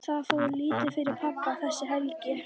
Það fór lítið fyrir pabba þessa helgi.